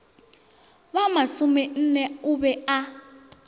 ba masomenne o be a